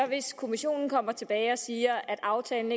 hvis kommissionen kommer tilbage og siger at aftalen